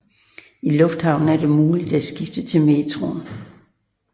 I lufthavnen er det muligt at skifte til metroen